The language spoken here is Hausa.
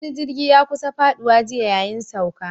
Wani jirgi ya kusa faɗuwa jiya yayin sauka